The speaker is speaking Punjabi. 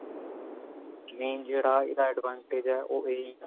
main ਜਿਹੜਾ ਇਹਦਾ advantage ਹੈ ਉਹ ਇਹੀ ਹੈ